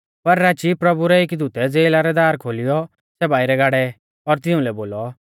पर राची प्रभु रै एकी दूतै ज़ेला रै दार खोलिऔ सै बाइरै गाड़ै और तिउंलै बोलौ